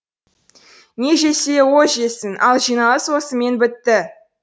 не жесе о жесін ал жиналыс осымен бітті